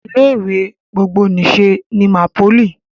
Ilé ìwé gbogbonìṣe ni MAPOLY